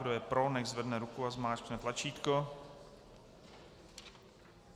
Kdo je pro, nechť zvedne ruku a zmáčkne tlačítko.